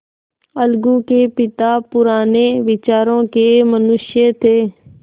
अलगू के पिता पुराने विचारों के मनुष्य थे